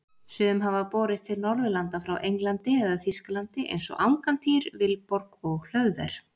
Sum hafa borist til Norðurlanda frá Englandi eða Þýskalandi eins og Angantýr, Vilborg og Hlöðver.